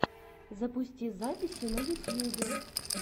запусти записи на ютьюбе